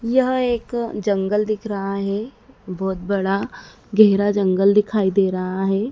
यह एक जंगल दिख रहा है बहोत बड़ा गहरा जंगल दिखाई दे रहा है।